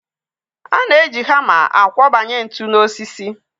A na-eji hama akwọbanye ntu n'osisi.